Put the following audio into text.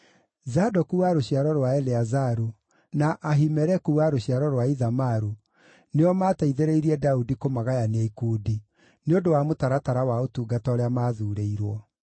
Zadoku wa rũciaro rwa Eleazaru na Ahimeleku wa rũciaro rwa Ithamaru nĩo maateithĩrĩirie Daudi kũmagayania ikundi, nĩ ũndũ wa mũtaratara wa ũtungata ũrĩa maathuurĩirwo.